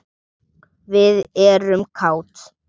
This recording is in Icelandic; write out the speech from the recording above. Við erum kát.